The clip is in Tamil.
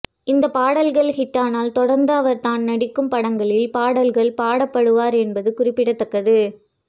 இந்த பாடல்கள் ஹிட்டானால் தொடர்ந்து அவர் தான் நடிக்கும் படங்களில் பாடல்கள் பாட பாடுவார் என்பது குறிப்பிடத்தக்கது